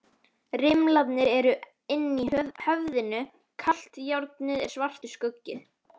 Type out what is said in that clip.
Rimlarnir eru inni í höfðinu, kalt járnið er svartur skuggi.